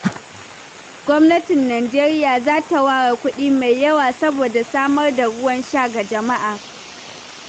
Gwamnatin Najeriya za ta ware kuɗi mai yawa saboda samar da ruwan sha ga jama'a.